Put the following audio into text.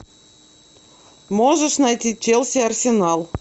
можешь найти челси арсенал